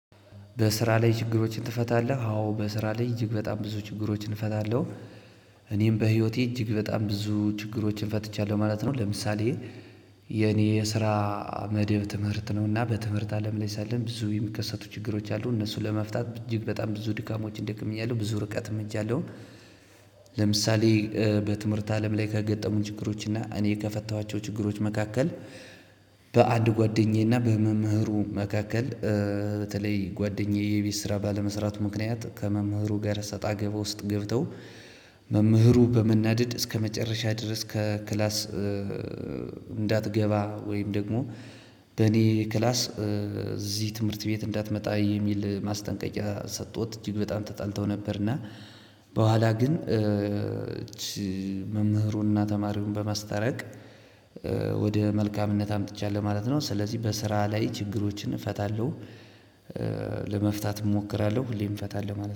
በስራ ላይ ችግሮችን ትፈታለህ? አዎ በስራ ላይ እጅግ በጣም ብዙ ችግሮችን እፈታለሁ እኔም በህይወቴ እጅግ በጣም ብዙ ችግሮችን ፈትቻለሁ ማለት ነው። ለምሳሌ የኔ የስራ መደብ ትምህርት ነው። እና በትምህርት አለም ላይ ሳለን ብዙ የሚከሰቱ ችግሮች አሉ እነሱን ለመፍታት እጅግ በጣም ብዙ ድካሞችን ደክሚያለሁ ብዙ ርቀትም ሄጃለው። ለምሳሌ በትምህርት አለም ላይ ከገጠሙኝ ችግሮች እና እኔ ከፈታሗቸው ችግሮች መካከል። በአንድ ጓደኛዬ እና በመምህሩ መካከል። በተለይ ጓደኛዬ የቤት ስራ ባለመስራቱ ምክንያት ከመምህሩ ጋር እሰጣ ገባ ውስጥ ገብተው መምህሩ በመናደድ እስከመጨረሻ ድረስ ከክላስ። እንዳትገባ ወይም ደግሞ በኔ ክላስ እዚህ ትምህርት ቤት እንዳትመጣ የሚል ማስጠንቀቂያ ሰጥቶት እጅግ በጣም ተጣልተው ነበር። እና በኋላ ግን መምህሩንና ተማሪውን በማስተረቅ ወደ መልካምነት አምጥቻለሁ ማለት ነው። ስለዚህ በስራ ላይ ችግሮችን እፈታለሁ። ለመፍታት እሞክራለሁ ሁሌም እፈታለሁ ማለት ነው